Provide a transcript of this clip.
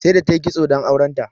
Saida ta yi kitso don auren ta.